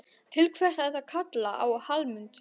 Til hvers ertu að kalla á Hallmund?